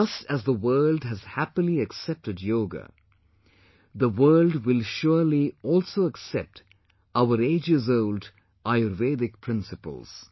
Just as the world has happily accepted Yoga, the world will surely also accept our ages old Ayurvedic principles